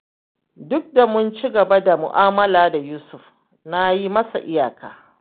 Duk da mun ci gaba da mu'amala da Yusuf, na yi masa iyaka